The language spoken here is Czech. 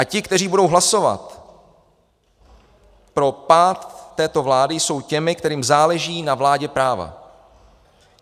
A ti, kteří budou hlasovat pro pád této vlády, jsou těmi, kterým záleží na vládě práva.